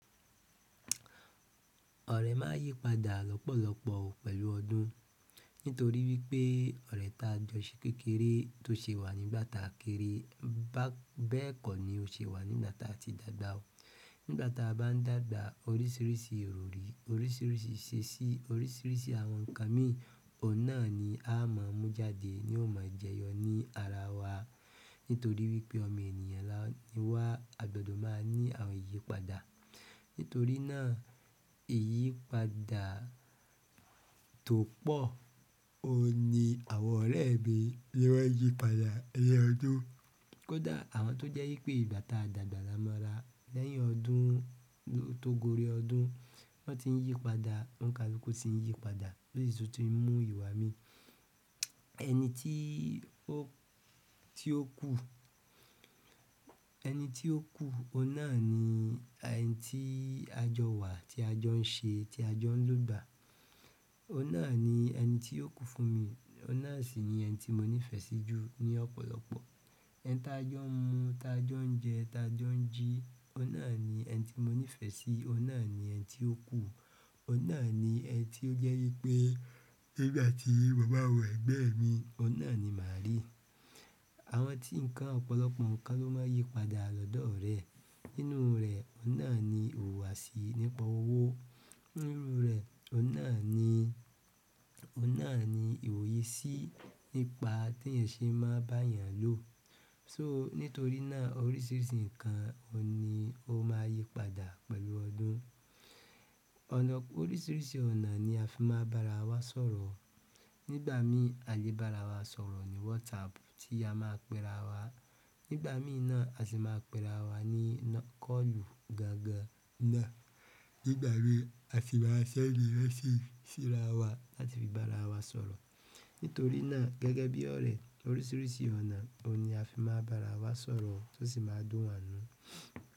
Ọ̀rẹ́ máà ń yípadà lọ́pọ̀lọpọ̀ o pẹ̀lú ọdún. Nítorí wípé ọ̀rẹ́ ta jọ̀ṣe kékeré tó ṣe wà nígbàta kéré bẹ́ẹ̀ kọ́ ni ó ṣe wà nígbàta ti dàgbà o. Nígbàta bá n dàgbà orísìírísìí ìròrí, orísìírísìí iṣeṣí, orísìírísìí àwọn ǹkan mí o náà ni a máà mú jáde ni o máa jẹyọ ní ara wa. Nítorí wípé ọmọ ènìyàn ni wá, àgbàdo máa ní àyípadà. Nítorí náà, iyipada topo oun ni àwọn oremi ni won yípadà ni ọdún. Kódà àwọn tó jẹ́ wípé ígbàta dàgbà lámọra lẹ́yìn ọdún tó gori ọdún wọn ti ń yípadà, oun kalukú tí ń yípadà, ó sì tu ti ń mú ìwà mí. Ẹni tí ó kú, ọun náà ni ẹni tí a jọ wà tí a jọ ń ṣe tí a jọ ń lògbà. Oun náà ni ẹni ti o ku fún mii, oun náà si ni ẹni ti mo nife si ju ni ọ̀pọ̀lọpọ̀. Ẹni tá jọ̀ mú, tá jọ̀ ń jẹ, tá jọ̀ ń jí ọ̀nà ni ẹni tí mo nífẹ̀ẹ́ sí, ọ̀nà ni ẹni tí ó kú, ọ̀nà ni ẹni tí ó jẹ́ wípé nígbà tí mo ba wo ẹ̀gbe mi ọ̀nà ni mà rí. Àwọn tí ǹkan ọ̀pọ̀lọpọ̀ ǹkan ló máà ń yípadà lọ́dọ̀ ọ̀rẹ́ e. Nínú ree oun náà ni wuwa si nípa owo nínú rẹ̀ ọ̀nà ni ìwòye sí nípa t'eyan ṣé máa bá'yàn lò. So nítorí náà oríṣiríṣi nkan oun ni o maa yípadà pẹ̀lú ọdún ọ̀nà- oríṣiríṣi ọ̀nà ni afi maa ba'rawa sọ̀rọ̀. Nígbà mí àlé bá ara wa sọ̀rọ̀ ní WhatsApp tí a máa pe ara wa. Nígbà mí náà a sì máa ń pe ara wa ní kọ́ọ̀lù gangan náà. Nígbà mi a sì máa ń sẹ́ndi message sí ara wa láti fi bá ara wa sọ̀rọ̀. Nítorí náà gẹ́gẹ́ bi ọ̀rẹ́ oríṣiríṣi ọ̀nà oun ni afi maa n ba ara wa sọ̀rọ̀ to si maa n dùn wa nínú.